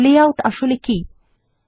layout আসলে কি160